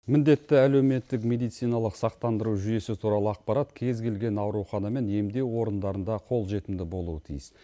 міндетті әлеуметтік медициналық сақтандыру жүйесі туралы ақпарат кез келген аурухана мен емдеу орындарында қолжетімді болуы тиіс